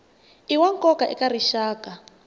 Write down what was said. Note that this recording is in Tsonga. i wa nkoka eka rixaka